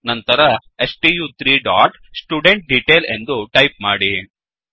ನಂತರ ಸ್ಟು3 dot student detail ಎಂದು ಟೈಪ್ ಮಾಡಿ